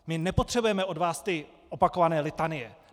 My nepotřebujeme od vás ty opakované litanie.